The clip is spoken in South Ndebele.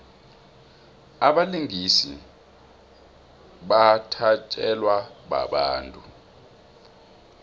abalingisi bathatjelwa babantu